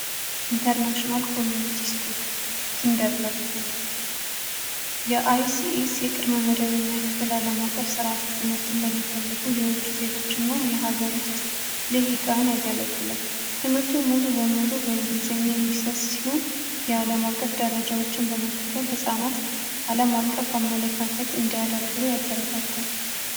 international community shcool kindergrtን የics የቅርመ መደበኛ ክፍል ዓለም አቀፍ ሥርዓተ ትምህርትን ለሚፈልጉ የውጩ ዜጎች እና የሀገር ውስጥ ልህ ይቃን ያገለግላል. ትምህርቱ ሙሉ በሙሉ በእንግሊዘኛ የሚሰት ሲሆን የዓለም አቀፍ ደረጃዎችን በመከተል ሕፃናት ዓለም አቀፍ አመለካከት እንዲያዳብሩ ያበረታታል።